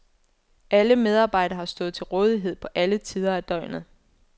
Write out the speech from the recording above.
Alle medarbejdere har stået til rådighed på alle tider af døgnet.